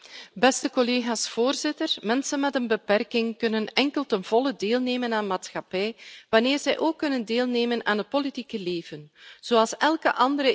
Voorzitter, mensen met een beperking kunnen enkel ten volle deelnemen aan de maatschappij, wanneer zij ook kunnen deelnemen aan het politieke leven zoals elke andere EU burger.